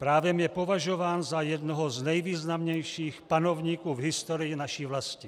Právem je považován za jednoho z nejvýznamnějších panovníků v historii naší vlasti.